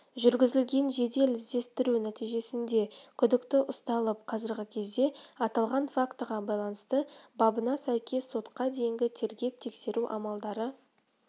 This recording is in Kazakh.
жүргізілген жедел-іздестіру нәтижесінде күдікті ұсталып қазіргі кезде аталған фактыға байланысты бабына сәйкес сотқа дейінгі тергеп-тексеру амалдары